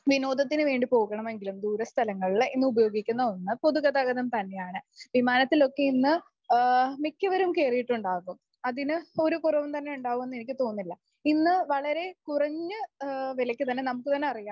വിനോദത്തിന് വേണ്ടി പോകണമെങ്കിലും ദൂര സ്ഥലങ്ങളില് ഇന്ന് ഉപയോഗിക്കുന്ന ഒന്ന് പൊതുഗതാഗതം തന്നെയാണ് വിമാനത്തിലൊക്കെ ഇന്ന് മിക്കവരും കേറിയിട്ടുണ്ടാകും അതിന് ഇപ്പോ ഒരു കുറവും തന്നെ ഉണ്ടാകുമെന്ന് എനിക്കു തോന്നുന്നില്ല . ഇന്നു വളരെ കുറഞ്ഞ വിലക്ക് തന്നെ നമുക്ക് തന്നെ അറിയാം